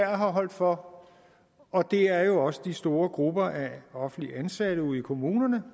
har holdt for og det er jo også de store grupper af offentligt ansatte ude i kommunerne